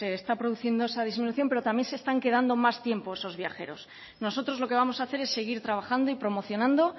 se está produciendo esa disminución pero también se están quedando más tiempo esos viajeros nosotros lo que vamos a hacer es seguir trabajando y promocionando